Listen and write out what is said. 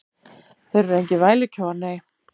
Þeir eru engir vælukjóar, nei.